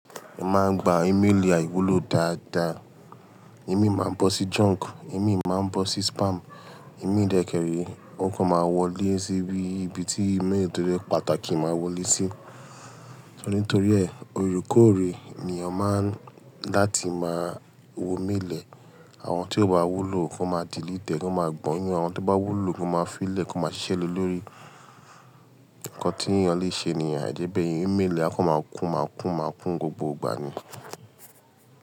Mo máa ń gba email àìwúlò dáadáa. Email máa ń bọ́ sí junk, email máa ń bọ́ sí spam, email ìdẹ́kẹrẹ, ó kàn máa wọlé síbi ìbí tí email tó rẹ pàtàkì máa wọlé sí. Torí ń t'ori ẹ, òorekoore ní o máa ń láti máa wo email e. Àwọn tí ó bá wúlò ó máa di lí tẹ́ ẹ, wọn máa gbọn yín. Àwọn tó bá wúlò wọn máa fi í lẹ̀, kán máa ṣiṣẹ́ lórí nkán tí èèyàn lè ṣe ní àìjẹ́bẹ̀ yen email, á kàn máa kún, máa kún, máa kún gbogbo ìgbà ni.